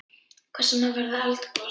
Hvers vegna verður eldgos?